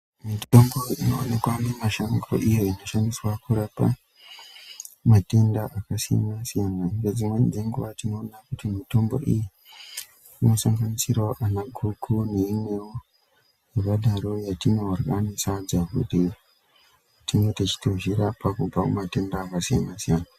Mitombo inowanikwa mumashango iyo inoshandiswa pakurapa matenda akasiyana-siyana. Ngedzimweni nguwa tinoone kuti mitombo iyi inosanganisire anaguku neimwewo yakadaroko yetinorye nesadza kuti tinge tichitozvirapa kubva kumatenda akasiyana-siyana.